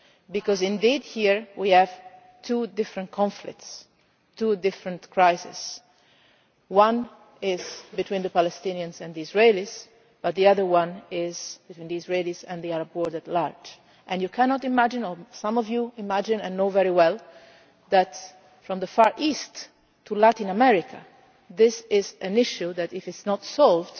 Because here we have two different conflicts and crises one is between the Palestinians and the Israelis, but the other one is between the Israelis and the Arab world at large, and you cannot imagine or some of you imagine and know very well that from the Far East to Latin America this is an issue that, if it is not solved,